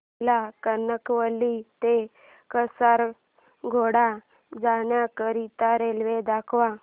मला कणकवली ते कासारगोड जाण्या करीता रेल्वे दाखवा